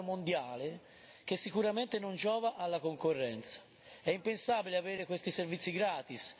Al momento vi è un sostanziale duopolio mondiale che sicuramente non giova alla concorrenza.